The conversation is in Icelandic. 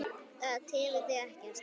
Það tefur þig ekkert.